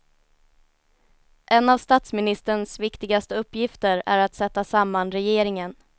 En av statsministerns viktigaste uppgifter är att sätta samman regeringen.